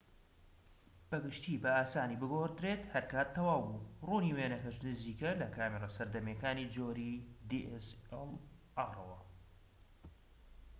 بە گشتی بە ئاسانی بگۆڕدرێت هەرکات تەواو بوو ڕوونی وێنەکەش نزیکە لە کامێرە سەردەمیەکانی جۆری dslr ەوە